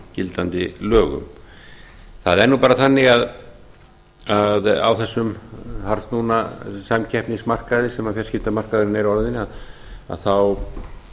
gildandi lögum það er bara þannig að á þessum harðsnúna samkeppnismarkaði sem fjarskiptamarkaðurinn er orðinn þá